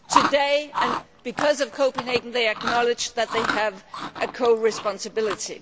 Today, because of Copenhagen they acknowledge that they have a co responsibility.